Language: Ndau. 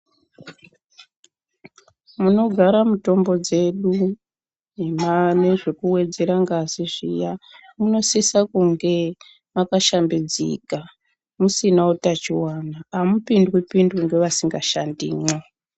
Munogara mutombo dzedu nezvekuwedzera ngazi zviya, munosisa kunge makashambidzika, musina utachiwana. Hamupindwi-pindwi ngevasingashandimwo.